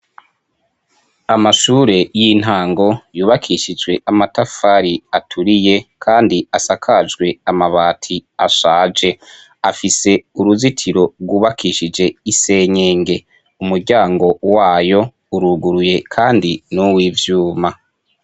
Amashure y'intango yubakishijwe amatafari aturiye kandi asakajwe amabati ashaje . Afise uruzitiro rwubakishije isenyenge umuryango wayo uruguruye kandi nuw'ivyuma.